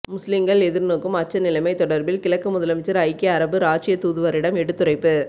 முஸ்லிங்கள் எதிர்நோக்கும் அச்ச நிலைமை தொடர்பில் கிழக்கு முதலமைச்சர் ஐக்கிய அரபு இராச்சிய தூதுவரிடம் எடுத்துரைப்பு